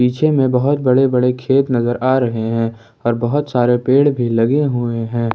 पीछे में बहुत बड़े बड़े खेत नजर आ रहे हैं और बहुत सारे पेड़ भी लगे हुए हैं ।